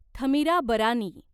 Thamirabarani